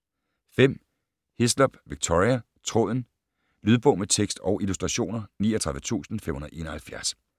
5. Hislop, Victoria: Tråden Lydbog med tekst og illustrationer 39571